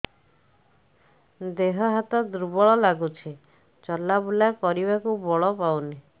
ଦେହ ହାତ ଦୁର୍ବଳ ଲାଗୁଛି ଚଲାବୁଲା କରିବାକୁ ବଳ ପାଉନି